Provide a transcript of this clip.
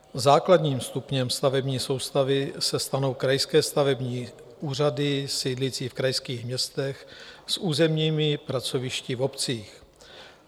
Základním stupněm stavební soustavy se stanou krajské stavební úřady sídlící v krajských městech s územními pracovišti v obcích.